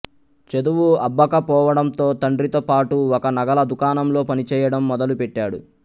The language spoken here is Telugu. చదువు అబ్బకపోవడంతో తండ్రితో పాటు ఒక నగల దుకాణంలో పని చేయడం మొదలు పెట్టాడు